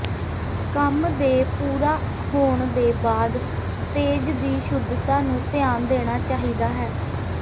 ਕੰਮ ਦੇ ਪੂਰਾ ਹੋਣ ਦੇ ਬਾਅਦ ਤੇਜ਼ ਦੀ ਸ਼ੁੱਧਤਾ ਨੂੰ ਧਿਆਨ ਦੇਣਾ ਚਾਹੀਦਾ ਹੈ